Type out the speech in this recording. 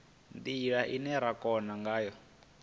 ndila ine ra kona ngayo